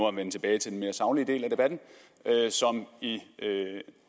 at vende tilbage til den mere saglige del af debatten som i